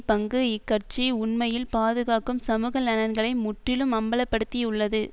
பங்கு இக்கட்சி உண்மையில் பாதுகாக்கும் சமூக நலன்களை முற்றிலும் அம்பல படுத்தியுள்ளது